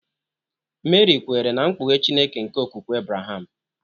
Meri kwere na mkpughe Chineke nke okwukwe Abraham.